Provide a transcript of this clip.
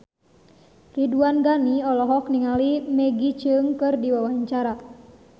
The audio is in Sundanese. Ridwan Ghani olohok ningali Maggie Cheung keur diwawancara